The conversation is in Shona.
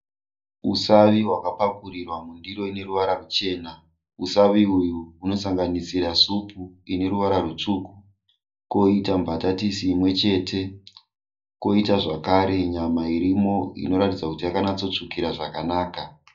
Usavi hwakapakurirwa mundiro ine ruvara ruchena. Usavi uyu hunosanganisira supu ine ruvara rwutsvuku, kwoita mbatatisi imwechete. Koita zvakare nyama irimo inoratidza kuti yakanyatsotsvukira zvakanaka.